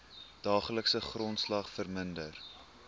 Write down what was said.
daaglikse grondslag verminder